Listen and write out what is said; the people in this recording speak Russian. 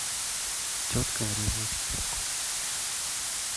тетка врезалась в тетку